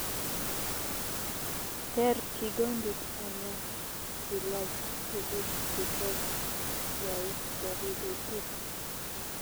Teer kigondit ana ilaach tuguuk che toss yai koriib itiit